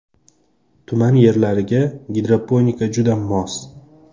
Tuman yerlariga gidroponika juda mos.